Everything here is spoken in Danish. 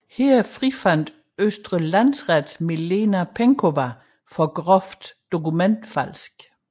Her frifandt Østre Landsret Milena Penkowa for groft dokumentfalsk